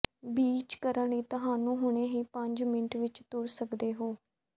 beach ਕਰਨ ਲਈ ਤੁਹਾਨੂੰ ਹੁਣੇ ਹੀ ਪੰਜ ਮਿੰਟ ਵਿੱਚ ਤੁਰ ਸਕਦੇ ਹੋ